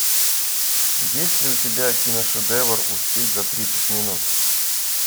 есть ли у тебя киношедевр успеть за тридцать минут